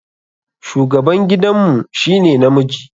Shugaban gidan mu shi ne namiji.